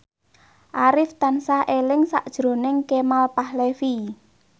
Arif tansah eling sakjroning Kemal Palevi